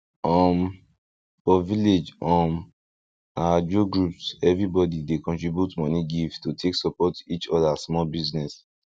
um for village um na ajo groups everybody dey contribute moni give to take support each other small business